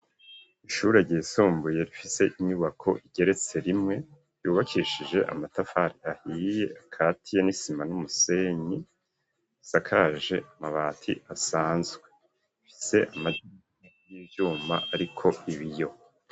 Ishure ryisumbuye rifise inyubako igeretse rimwe yubakishije amatafari ahiye akatiye n'isima n'umusenyi. Isakaje amabati asanzwe. Rifise amadirisha y'ivyuma ariko ibiyo.